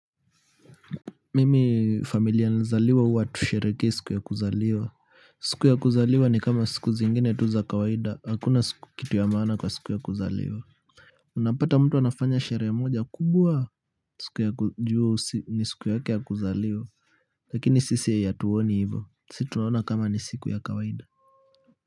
Mimi familia nilizaliwa huwa hatusherehekei siku ya kuzaliwa. Siku ya kuzaliwa ni kama siku zingine tu za kawaida. Hakuna kitu ya maana kwa siku ya kuzaliwa unapata mtu anafanya sherehe moja kubwa. Siku ya juu ni siku yake ya kuzaliwa. Lakini sisi hatuoni hivo. Sisi tunaona kama ni siku ya kawaida.